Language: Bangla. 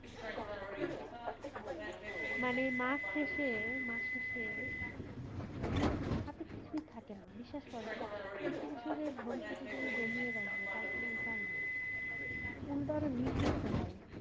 মানে মাস শেষে মাস শেষ হাথে কিছুই থাকে না বিশ্বস করুন একটু কিছু যে ভবিষৎ এর জন্য জমিয়ে রাখবো তার কোনো উপায়নাই উল্টে আরো ঋণ করতে হয়